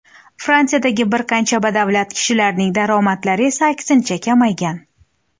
Fransiyadagi bir qancha badavlat kishilarning daromadlari esa aksincha kamaygan.